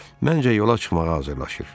Məncə, yola çıxmağa hazırlaşır.